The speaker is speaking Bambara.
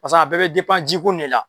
Paseke a bɛɛ bɛ jiko in de la.